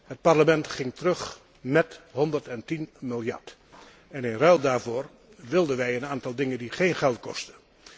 Het Parlement ging terug naar 110 miljard. In ruil daarvoor wilden wij een aantal dingen die geen geld kostten.